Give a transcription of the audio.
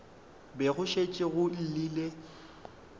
be go šetše go llile